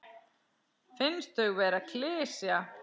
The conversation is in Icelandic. Finnst þau vera klisja.